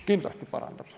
Kindlasti parandab.